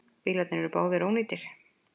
Bílarnir eru báðir ónýtir.